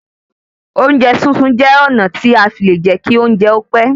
Oúnjẹ sísun jẹ́ ọ̀nà tí a fi lè jẹ́ kí oúnjẹ ó pẹ́